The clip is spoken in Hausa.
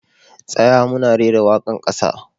Tsaya! muna rera waka'n kasa.